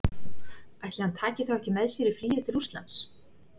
Ætli hann taki þá ekki með sér í flugið til Rússlands?